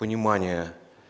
понимание